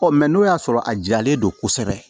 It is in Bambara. Ɔ mɛ n'o y'a sɔrɔ a jalen don kosɛbɛ